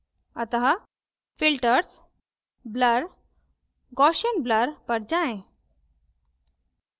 अतः filters blur gaussian blur पर जाएँ